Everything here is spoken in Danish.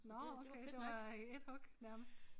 Nåh så det var i ét hug nærmest